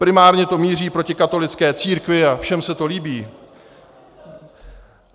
Primárně to míří proti katolické církvi a všem se to líbí.